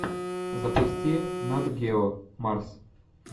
запусти нат гео марс